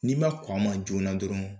N'i ma kɔn a ma joona dɔrɔn